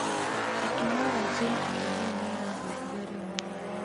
Tekinolonjĩ ya kĩrĩu nĩ nĩ ĩrahũthia ũrĩmi.